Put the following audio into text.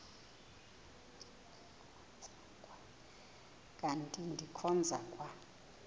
kanti ndikhonza kwa